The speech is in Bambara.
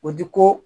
O di ko